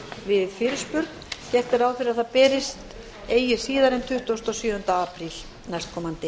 við fyrirspurn gert er ráð fyrir að það berist eigi síðar en tuttugasta og sjöunda apríl næstkomandi